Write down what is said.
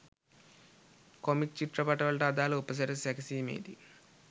comic චිත්‍රපටවලට අදාලව උපසිරැසි සැකසීමේදී